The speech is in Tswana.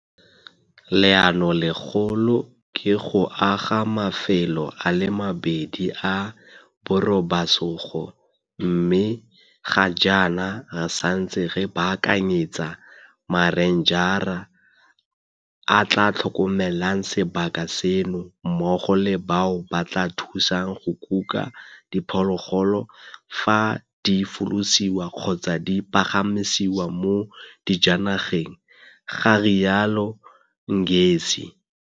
Leanolegolo ke go aga mafelo a le mabedi a borobasogo mme ga jaana re santse re baakanyetsa marenjara a a tla tlhokomelang sebaka seno mmogo le bao ba tla thusang go kuka diphologolo fa di folosiwa kgotsa di pagamisiwa mo dijanageng, ga rialo Ngesi.